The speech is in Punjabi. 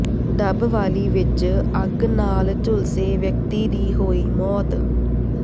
ਡੱਬਵਾਲੀ ਵਿੱਚ ਅੱਗ ਨਾਲ ਝੁਲਸੇ ਵਿਅਕਤੀ ਦੀ ਹੋਈ ਮੌਤ